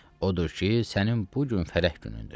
Odur ki, sənin bu gün fərəh günündür.